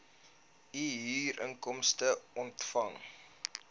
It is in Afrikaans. u huurinkomste ontvang